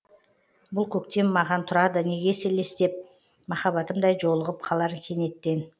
бұл көктем маған тұрады неге елестеп махаббатымдай жолығып қалар кенеттен